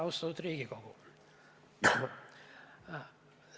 Austatud Riigikogu!